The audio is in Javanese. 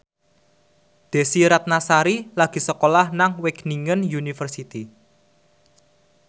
Desy Ratnasari lagi sekolah nang Wageningen University